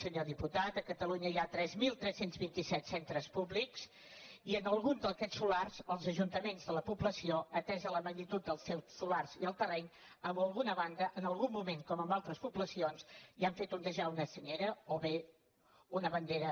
senyor diputat a catalunya hi ha tres mil tres cents i vint set centres públics i en algun d’aquests solars els ajuntaments de la població atesa la magnitud del seu solar i el terreny en alguna banda en algun moment com en altres poblacions hi han fet onejar una senyera o bé una bandera